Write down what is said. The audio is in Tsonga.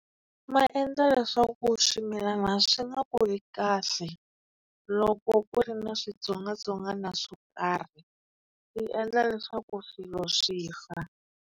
Ma endla leswaku swimilana swi nga kuli kahle, loko ku ri na switsongwatsongwana swo karhi yi endla leswaku swilo swi fa.